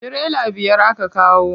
Tirela biyar aka kawo.